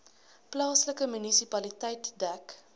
plaaslike munisipaliteit dek